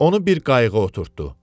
Onu bir qayığa oturtdurdu.